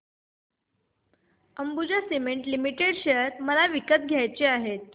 Ambuja cement limited share मला विकत घ्यायचे आहेत